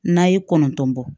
N'a ye kɔnɔntɔn bɔ